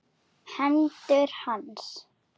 Hendur hans.